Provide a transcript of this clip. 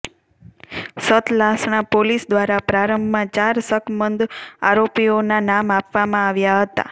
Satlasana police દ્વારા પ્રારંભમાં ચાર શકમંદ આરોપીઓના નામ આપવામાં આવ્યા હતા